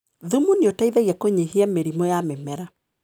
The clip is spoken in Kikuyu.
Thumu nĩũteithagia kũnyihia mĩrimũ ya mĩmera.